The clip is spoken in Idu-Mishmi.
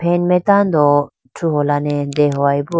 fan mai tando thruholane dehoyeboo.